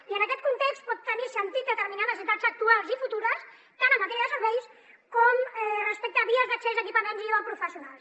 i en aquest context pot tenir sentit determinar necessitats actuals i futures tant en matèria de serveis com respecte a vies d’accés a equipaments i o a professionals